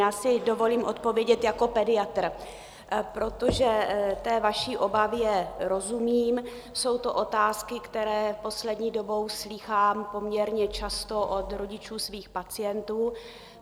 Já si dovolím odpovědět jako pediatr, protože té vaší obavě rozumím, jsou to otázky, které poslední dobou slýchám poměrně často od rodičů svých pacientů.